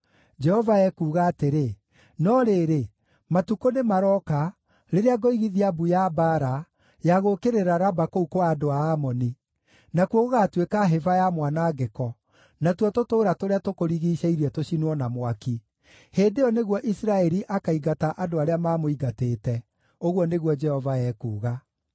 Jehova ekuuga atĩrĩ, “No rĩrĩ, matukũ nĩmarooka rĩrĩa ngoigithia mbu ya mbaara ya gũũkĩrĩra Raba kũu kwa andũ a Amoni; nakuo gũgaatuĩka hĩba ya mwanangĩko, natuo tũtũũra tũrĩa tũkũrigiicĩirie tũcinwo na mwaki. Hĩndĩ ĩyo nĩguo Isiraeli akaingata andũ arĩa maamũingatĩte,” ũguo nĩguo Jehova ekuuga.